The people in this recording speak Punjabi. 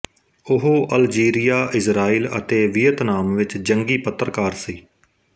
ਉਹ ਅਲਜੀਰੀਆ ਇਜ਼ਰਾਈਲ ਅਤੇ ਵੀਅਤਨਾਮ ਵਿਚ ਜੰਗੀ ਪੱਤਰਕਾਰ ਸੀ